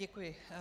Děkuji.